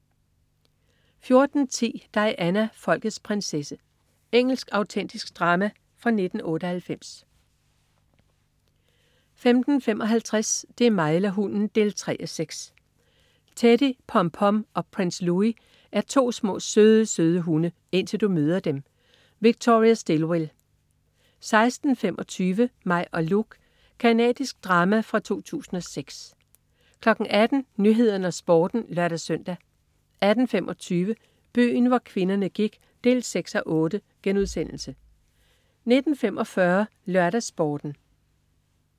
14.10 Diana, folkets prinsesse. Engelsk autentisk drama fra 1998 15.55 Det er mig eller hunden! 3:6. Teddy Pom Pom og Prince Louis er to små, søde hunde. Indtil du møder dem! Victoria Stillwell 16.25 Mig og Luke. Canadisk drama fra 2006 18.00 Nyhederne og Sporten (lør-søn) 18.25 Byen hvor kvinderne gik 6:8* 19.45 LørdagsSporten